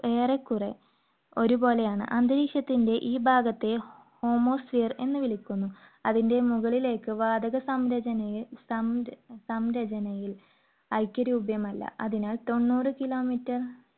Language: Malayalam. ~ ഏറെക്കുറെ ഒരുപോലെയാണ്. അന്തരീക്ഷത്തിന്റെ ഈ ഭാഗത്തെ homospehere എന്നു വിളിക്കുന്നു. അതിന്റെ മുകളിലേക്ക് വാതക സംരചനയെ സം~സംരചനയിൽ ഐക്യരൂപം അല്ല, അതിനാൽ തൊണ്ണൂറ് kilometer